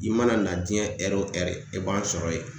I mana na jiɲɛ ɛrio o ɛri i b'an sɔrɔ yen